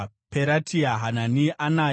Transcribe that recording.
Peratia, Hanani, Anaya